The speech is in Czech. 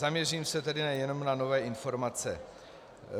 Zaměřím se tedy jenom na nové informace.